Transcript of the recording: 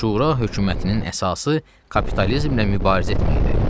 Şura hökumətinin əsası kapitalizmlə mübarizə etməkdir.